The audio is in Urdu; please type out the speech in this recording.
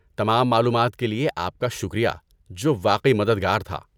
تمام معلومات کے لئے آپ کا شکریہ، جو واقعی مددگار تھا۔